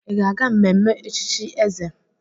Ị ga-aga mmenme echichi Eze?